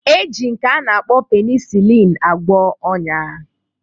E ji nke a na-akpọ penisilin agwọ ọn̄ya